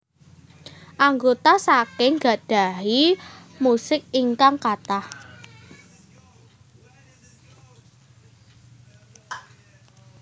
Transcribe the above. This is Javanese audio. Anggota saking gadhahi musik ingkang kathah